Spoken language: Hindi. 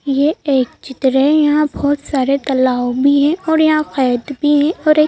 ये एक चित्र है यहाँ बहुत सारे तलाव भी है और यहाँ फैत भी है और एक--